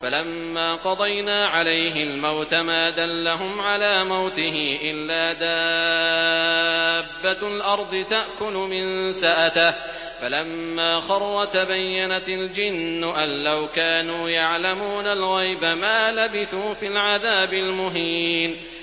فَلَمَّا قَضَيْنَا عَلَيْهِ الْمَوْتَ مَا دَلَّهُمْ عَلَىٰ مَوْتِهِ إِلَّا دَابَّةُ الْأَرْضِ تَأْكُلُ مِنسَأَتَهُ ۖ فَلَمَّا خَرَّ تَبَيَّنَتِ الْجِنُّ أَن لَّوْ كَانُوا يَعْلَمُونَ الْغَيْبَ مَا لَبِثُوا فِي الْعَذَابِ الْمُهِينِ